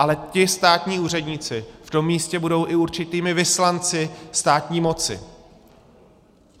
Ale ti státní úředníci v tom místě budou i určitými vyslanci státní moci.